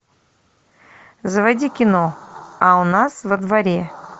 заводи кино а у нас во дворе